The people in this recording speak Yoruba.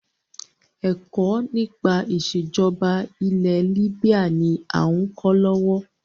Ẹ̀kọ́ nípa ìsèjọba ilẹ̀ libya ni a ń kọ́ lọ́wọ́.